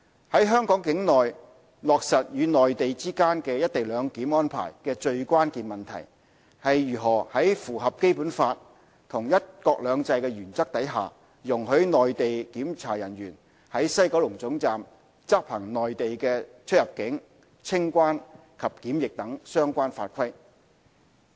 在香港境內落實與內地之間"一地兩檢"安排的最關鍵問題，是如何在符合《基本法》和"一國兩制"的原則下，容許內地檢查人員在西九龍總站執行內地的出入境、清關及檢疫等相關法規。